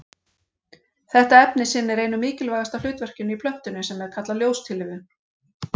Þetta efni sinnir einu mikilvægasta hlutverkinu í plöntunni sem er kallað ljóstillífun.